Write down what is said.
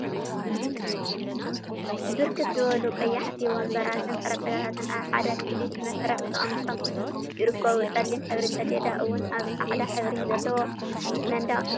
ብርክት ዝበሉ ቀያሕቲ ወንበራትን ጠረጴዛታትን ኣብ ሓደ ክፍሊ ብመስርዕ ተቀሚጦም ይርከቡ። ጸሊም ሕብሪ ሰሌዳ እውን ኣብ ጻዕዳ ሕብሪ ዘለዎ መንደቅ ተሰቂሉ ይርከብ። ጽሬት ዘለዎ ክፍሊ እዩ።